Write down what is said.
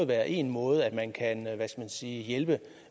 være en måde man kan hjælpe